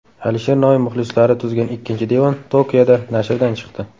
Alisher Navoiy muxlislari tuzgan ikkinchi devon Tokioda nashrdan chiqdi.